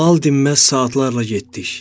Lal dinməz saatlarla getdik.